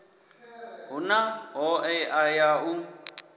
hu na hoea ya u